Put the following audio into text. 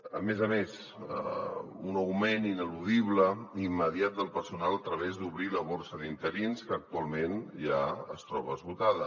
a més a més un augment ineludible i immediat del personal a través d’obrir la borsa d’interins que actualment ja es troba esgotada